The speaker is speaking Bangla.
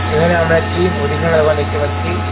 এখানে আমরা একটি মুদিখানা দোকান দেখতে পাচ্ছি।